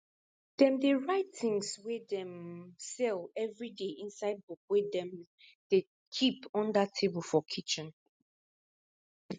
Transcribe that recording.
dem um dey write things wey dey um sell everiday inside book wey dem um dey keep under table for kitchen